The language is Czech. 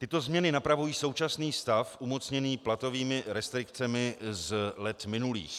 Tyto změny napravují současný stav umocněný platovými restrikcemi z let minulých.